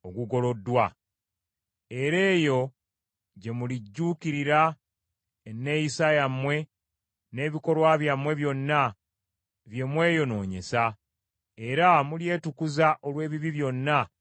Era eyo gye mulijjuukirira enneeyisa yammwe n’ebikolwa byammwe byonna bye mweyonoonyesa, era mulyetukuza olw’ebibi byonna bye mwakola.